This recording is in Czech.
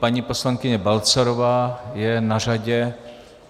Paní poslankyně Balcarová je na řadě.